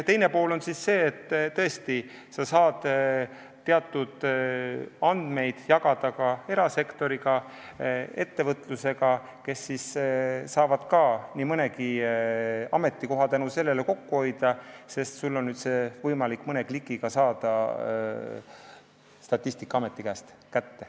Teine pool on see, et sa saad teatud andmeid jagada ka erasektoriga, ettevõtjatega, kes saavad nii mõnegi ametikoha tänu sellele kokku tõmmata, sest on võimalik mõne klõpsuga saada Statistikaametist andmed kätte.